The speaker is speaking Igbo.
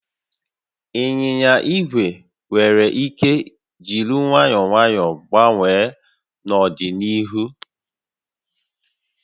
Ịnyịnya igwe nwere ike jiri nwayọọ nwayọọ gbanwee n'ọdịnihu